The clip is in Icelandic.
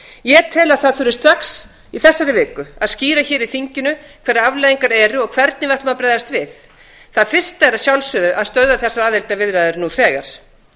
ég tel að það þurfi strax í þessari viku að skýra fyrir þinginu hverjar afleiðingar eru og hvernig við ætlum að bregðast við það fyrsta er að sjálfsögðu að stöðva þessar aðildarviðræður nú þegar